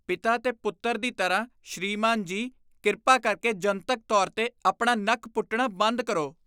ਪਿਤਾ ਤੇ ਪੁੱਤਰ ਦੀ ਤਰ੍ਹਾਂ, ਸ੍ਰੀਮਾਨ ਜੀ , ਕਿਰਪਾ ਕਰਕੇ ਜਨਤਕ ਤੌਰ 'ਤੇ ਆਪਣਾ ਨੱਕ ਪੁੱਟਣਾ ਬੰਦ ਕਰੋ।